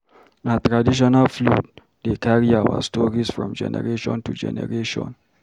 Na traditional flute dey carry our stories from generation to generation.